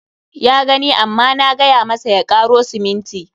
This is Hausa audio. Ya gani amma na gay amasa ya karo siminti.